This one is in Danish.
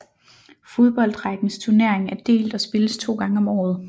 Fodboldrækkens turnering er delt og spilles 2 gange om året